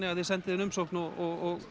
að þið sendið inn umsókn og